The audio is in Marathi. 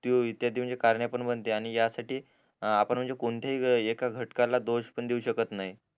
त्यो इत्याची म्हणजे कारणे पण बनते आणि या साठी आपण म्हणजे कोणतेही एका घटकाला दोष पण देऊ शकत नाही